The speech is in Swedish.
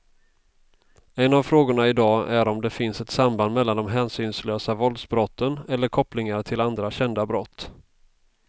En av frågorna i dag är om det finns ett samband mellan de hänsynslösa våldsbrotten eller kopplingar till andra kända brott.